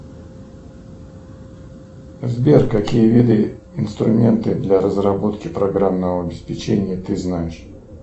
сбер какие виды инструменты для разработки программного обеспечения ты знаешь